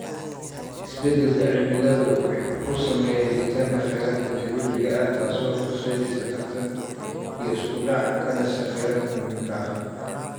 Isbeddelka cimiladu wuxuu saameeyaa helitaanka kheyraadka dabiiciga ah, taasoo horseedaysa tartan iyo isku dhac ka dhasha kheyraadka muhiimka ah.